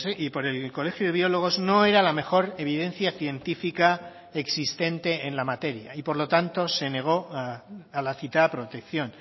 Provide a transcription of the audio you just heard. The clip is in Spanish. y por el colegio de biólogos no era la mejor evidencia científica existente en la materia y por lo tanto se negó a la citada protección